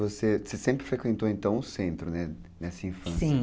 Você sempre frequentou o centro nessa infância, sim.